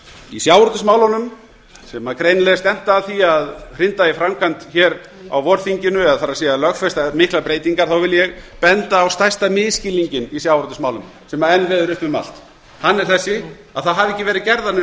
í sjávarútvegsmálunum er greinilega stefnt að því að hrinda í framkvæmd á vorþinginu það er lögfesta miklar breytingar þá vil ég benda á stærsta misskilninginn í sjávarútvegsmálum sem enn veður uppi um allt hann er þessi að ekki hafa verið gerðar neinar